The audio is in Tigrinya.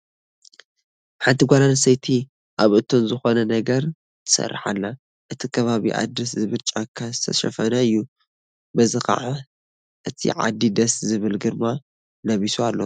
ሓንቲ ጓል ኣነስተይቲ ኣብ እቶን ዝኾነ ነገር ትሰርሕ ኣላ፡፡ እቲ ከባቢአ ደስ ዝብል ጫካ ዝተሸፈነ እዩ፡፡ በዚ ከዓ እቲ ዓዲ ደስ ዝብል ግርማ ለቢሱ ኣሎ፡፡